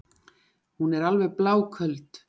Hún er alveg bláköld.